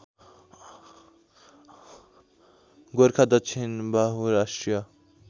गोरखा दक्षिणबाहु राष्ट्रिय